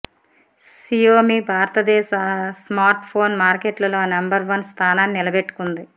Xiaomi భారతదేశ smart phone మార్కెట్లో number one స్థానాన్ని నిలబెట్టుకుంది